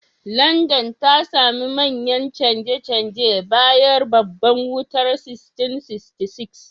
Landan ta sami manyan canje-canje bayan Babbar Wutar 1666.